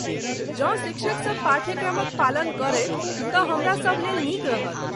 जँ शिक्षकसब पाठ्यक्रमक पालन करथि तँ हमरासभ लेल नीक रहत।